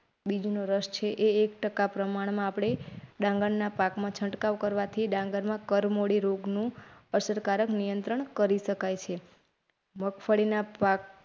બીજું નો રસ છે. એક ટકા પ્રમાણમાં આપડે ડાંગરના પાકમાં છંટકાવ કરવાથી ડાંગરમાં કરમોદી રોગનું અસરકારક નિયંત્રણ કરી શકાય છે મગફળીના પાક.